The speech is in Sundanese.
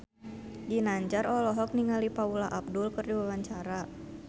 Ginanjar olohok ningali Paula Abdul keur diwawancara